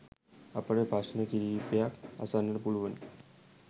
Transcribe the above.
අපට ප්‍රශ්න කිහිපයක් අසන්නට පුලුවනි